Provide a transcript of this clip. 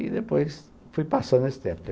E depois fui passando esse tempo.